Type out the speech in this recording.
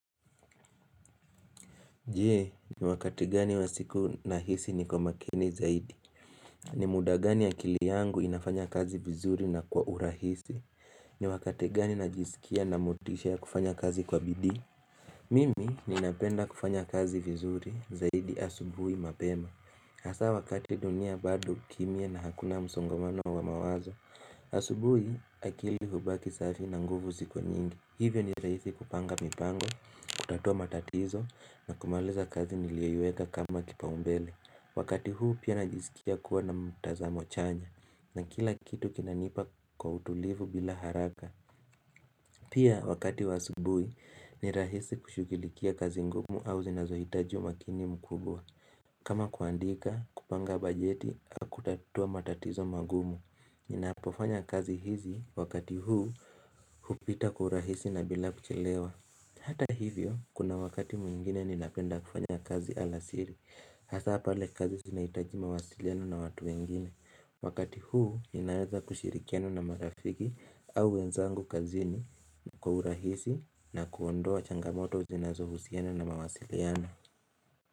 Je, ni wakati gani wa siku nahisi niko makini zaidi? Ni muda gani akili yangu inafanya kazi vizuri na kwa urahisi? Ni wakati gani najisikia nina motisha ya kufanya kazi kwa bidii? Mimi ninapenda kufanya kazi vizuri zaidi asubuhi mapema. Hasa wakati dunia bado kimia na hakuna msongomano wa mawazo asubuhi akili hubaki safi na nguvu ziko nyingi, hivyo ni rahisi kupanga mipango, kutatua matatizo na kumaliza kazi niliyoiweka kama kipaumbele. Wakati huu pia najisikia kuwa na mtazamo chanya na kila kitu kinanipa kwa utulivu bila haraka. Pia wakati wa asubuhi ni rahisi kushughulikia kazi ngumu au zinazohitaji umakini mkubwa. Kama kuandika, kupanga bajeti au kutatua matatizo magumu Ninapofanya kazi hizi wakati huu hupita kwa urahisi na bila kuchelewa Hata hivyo kuna wakati mwingine ninapenda kufanya kazi alasiri Hasa pale kazi zinahitaji mawasiliano na watu wengine Wakati huu ninaweza kushirikiana na marafiki au wenzangu kazini Kwa urahisi na kuondoa changamoto zinazohusiana na mawasiliano.